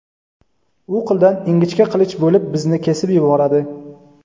u qildan ingichka qilich bo‘lib bizni kesib yuboradi.